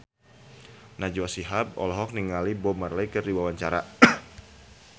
Najwa Shihab olohok ningali Bob Marley keur diwawancara